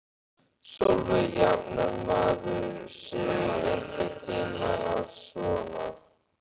Sólveig: Jafnar maður sig einhvern tímann á svona?